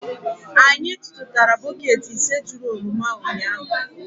Anyị tụtụtara bọket ise juru oroma ụnyahụ.